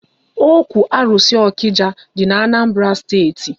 Ókwú arụsị Okija dị n'Anambra steeti